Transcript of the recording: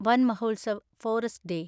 വൻ Mahotsav (forest day)